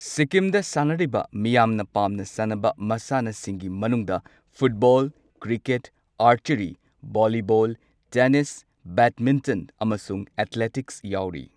ꯁꯤꯛꯀꯤꯝꯗ ꯁꯥꯟꯅꯔꯤꯕ ꯃꯤꯌꯥꯝꯅ ꯄꯥꯝꯅ ꯁꯥꯟꯅꯕ ꯃꯁꯥꯟꯅꯁꯤꯡꯒꯤ ꯃꯅꯨꯡꯗ football, cricket, archery, volleyball, tennis, badminton, ꯑꯃꯁꯨꯡ ꯑꯦꯊꯂꯦꯇꯤꯛꯁ ꯌꯥꯎꯔꯤ꯫